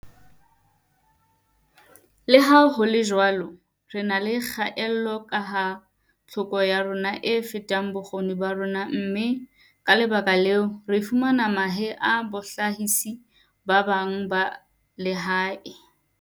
"Leha ho le jwalo, re na le kgaello kaha tlhoko ya rona e feta bokgoni ba rona mme, ka lebaka leo, re fumana mahe ho bahlahisi ba bang ba lehae."